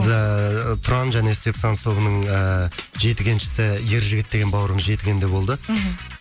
тұран және сепсанс тобының ыыы жетігеншісі ержігіт деген бауырым жетігенде болды мхм